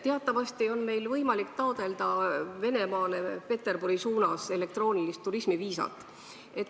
Teatavasti on meil võimalik taotleda Venemaale Peterburi sõiduks elektroonilist turismiviisat.